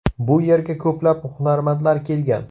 Bu yerga ko‘plab hunarmandlar kelgan.